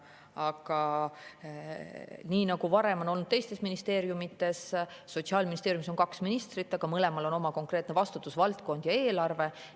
Aga nii nagu varem on olnud teistes ministeeriumides, on Sotsiaalministeeriumis praegu kaks ministrit, mõlemal on oma konkreetne vastutusvaldkond ja eelarve.